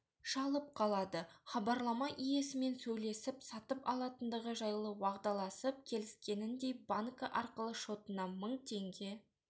шалып қалады хабарлама иесімен сөйлесіп сатып алатындығы жайлы уағдаласып келіскеніндей банкі арқылы шотына мың теңге